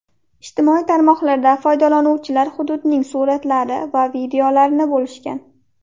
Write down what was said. Ijtimoiy tarmoqlarda foydalanuvchilar hududning suratlari va videolarini bo‘lishgan.